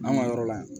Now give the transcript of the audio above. An ka yɔrɔ la yan